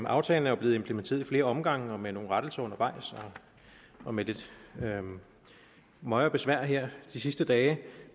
aftalen er blevet implementeret i flere omgange med nogle rettelser undervejs og med lidt møje og besvær her de seneste dage